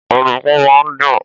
Ọ̀dùnkún máa ń dùn.